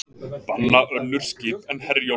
Banna önnur skip en Herjólf